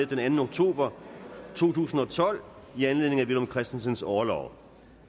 den anden oktober to tusind og tolv i anledning af villum christensens orlov